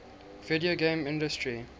video game industry